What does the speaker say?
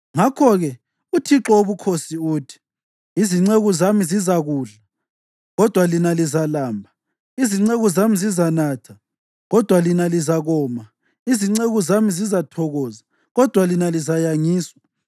Ngakho-ke uThixo Wobukhosi uthi: “Izinceku zami zizakudla, kodwa lina lizalamba; izinceku zami zizanatha, kodwa lina lizakoma; izinceku zami zizathokoza, kodwa lina lizayangiswa.